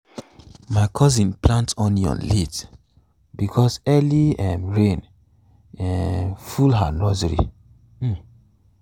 my cousin plant onion late because early um rain um full her nursery. um